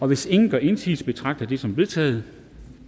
hvis ingen gør indsigelse betragter jeg det som vedtaget